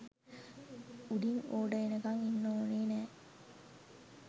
උඩින් ඕඩර් එනකං ඉන්න ඕන නෑ